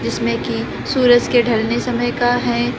जिसमें कि सूरज के ढलने समय का है।